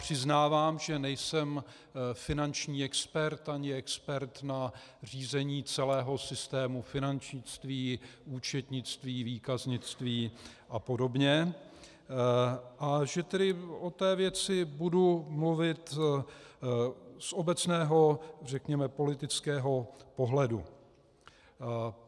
Přiznávám, že nejsem finanční expert ani expert na řízení celého systému finančnictví, účetnictví, výkaznictví a podobně, a že tedy o té věci budu mluvit z obecného, řekněme politického pohledu.